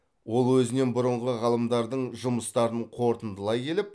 ол өзінен бұрынғы ғалымдардың жұмыстарын қорытындылай келіп